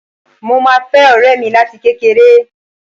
Mo máa fẹ́ ọ̀rẹ́ mi láti kékeré